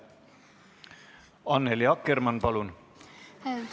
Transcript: Annely Akkermann, palun!